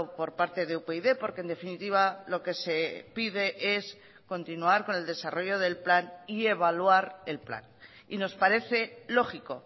por parte de upyd porque en definitiva lo que se pide es continuar con el desarrollo del plan y evaluar el plan y nos parece lógico